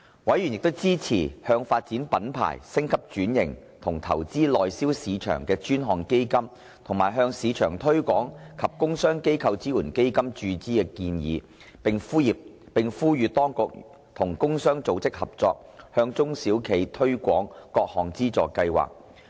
委員支持向發展品牌、升級轉型及拓展內銷市場的專項基金和向市場推廣及工商機構支援基金注資的建議，並呼籲當局與工商組織合作，向中小企推廣各項資助計劃。